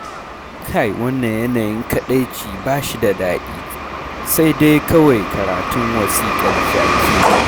Kai wannan yanayin kaɗaici ba shi da daɗi, sai dai kawai karantun wasiƙar jaki.